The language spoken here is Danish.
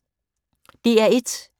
DR1